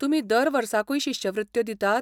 तुमी दर वर्साकूय शिश्यवृत्त्यो दितात?